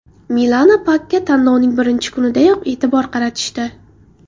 Milana Pakga tanlovning birinchi kunidayoq e’tibor qaratishdi.